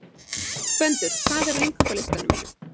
Gvendur, hvað er á innkaupalistanum mínum?